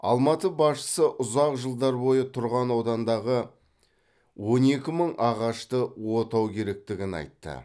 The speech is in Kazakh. алматы басшысы ұзақ жылдар бойы тұрған аудандағы он екі мың ағашты отау керектігін айтты